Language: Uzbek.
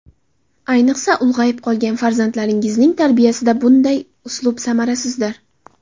Ayniqsa, ulg‘ayib qolgan farzandlaringizning tarbiyasida bunday uslub samarasizdir.